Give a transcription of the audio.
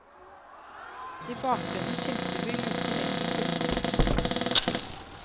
I bakgrunnen skimter vi luken inn til kullbunkersen.